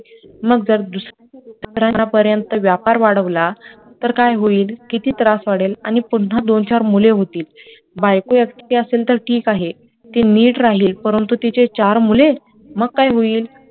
मग जर दुसऱ्यांपर्यंत व्यापार वाढवला तर काय होईल किती त्रास वाढेल आणि पुन्हा दोन चार मुले होतील बायको एकटी असेल तर ठीक आहे ती ठीक राहील परंतु तिचे चार मुले मग काय होईल